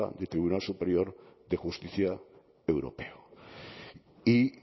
del tribunal superior de justicia europeo y